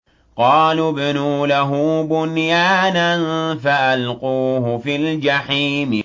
قَالُوا ابْنُوا لَهُ بُنْيَانًا فَأَلْقُوهُ فِي الْجَحِيمِ